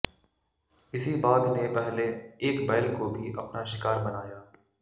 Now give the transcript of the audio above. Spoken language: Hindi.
इसी बाघ ने पहले एक बैल को भी अपना शिकार बनाया